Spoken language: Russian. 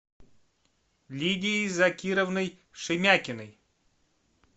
лидией закировной шемякиной